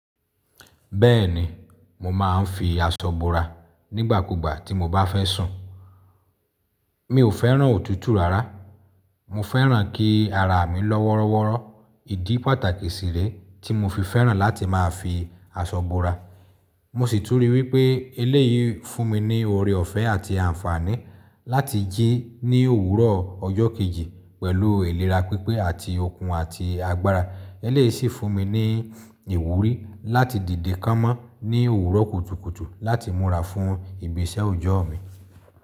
Bẹ́ẹ̀ni, mo máa ń fi aṣọ bora nígbàkúgbà tí mo bá fẹ́ sùn. Mi ò fẹ́ràn òtútù rara, mo fẹ́ràn kí ara mi lọ́ wọ́rọ́wọ́rọ́. Ìdí pàtàkì sí rẹ́ tí mo fi fẹ́ràn láti máa fi aṣọ bora. Mò sì tùn ri wìpè èleyi fùn mi niì òrè òfẹ àti ànfààni làti ji ni òwùrọ ọjọ kèji pẹlù ilèrà pẹlù ilèrà pìpè àti òkùn àtì àgbààrà. Eléyìí sì fún mi ní ìwúrí láti dìde kámọ́ ní òwúrọ̀ kùtùkùtù láti múra fún ìbìṣẹ̀ òòjọ́ mi.